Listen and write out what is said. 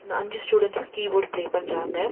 அஞ்சு students keyboard play பண்றாங்க.